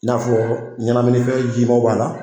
I n'a fɔ ɲɛnamini fɛn jima b'a la